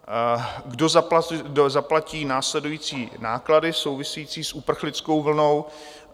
Kdo zaplatí následující náklady související s uprchlickou vlnou?